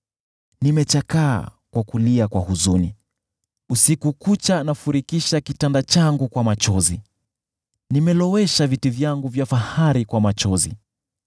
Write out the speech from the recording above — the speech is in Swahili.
Nimechakaa kwa kulia kwa huzuni; usiku kucha nafurikisha kitanda changu kwa machozi; nimelowesha viti vyangu vya fahari kwa machozi.